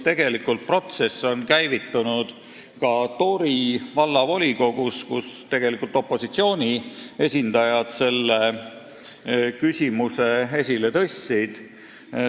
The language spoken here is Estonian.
Tegelikult on protsess käivitunud ka Tori Vallavolikogus, kus opositsiooni esindajad selle küsimuse üles tõstsid.